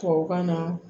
Tubabukan na